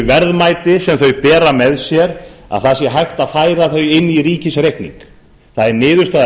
verðmæti sem þeir bera með sé hægt færa inn í ríkisreikning það er niðurstaða